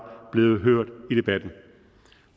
blevet hørt i debatten